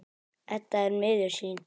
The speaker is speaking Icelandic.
Edda er miður sín.